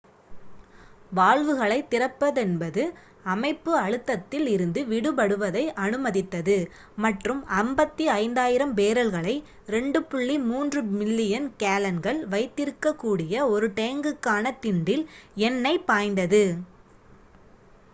வால்வுகளைத் திறப்பதென்பது அமைப்பு அழுத்தத்தில் இருந்து விடுபடுவதை அனுமதித்தது மற்றும் 55,000 பேரல்களை 2.3 மில்லியன் கேலன்கள் வைத்திருக்கக்கூடிய ஒரு டேங்குக்கான திண்டில் எண்ணெய் பாய்ந்தது